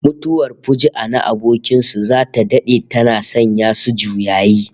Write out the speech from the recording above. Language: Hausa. Mutuwar fuju'a na abokin su zata dade tana sanya su juyayi